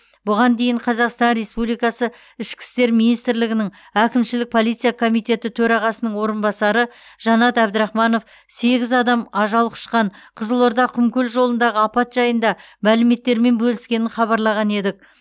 бұған дейін қазақстан республикасы ішкі істер министрлігінің әкімшілік полиция комитеті төрағасының орынбасары жанат әбдірахманов сегіз адам ажал құшқан қызылорда құмкөл жолындағы апат жайында мәліметтермен бөліскенін хабарлаған едік